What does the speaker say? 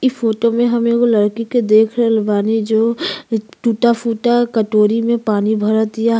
इ फोटो में हम एगो लड़की के देख रहल बानी जो टुटा-फूटा कटोरी में पानी भरतिया।